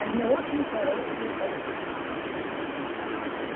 они очень хорошие боевики